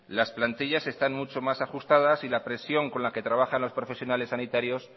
las plantillas están mucho más ajustadas y la presión con la que trabajan los profesionales sanitarios